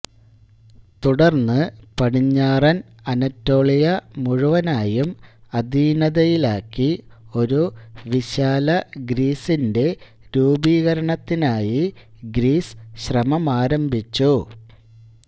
തുടർന്ന് പടിഞ്ഞാറൻ അനറ്റോളിയ മുഴുവനായും അധീനതയിലാക്കി ഒരു വിശാലഗ്രീസിന്റെ രൂപീകരണത്തിനായി ഗ്രീസ് ശ്രമമാരംഭിച്ചു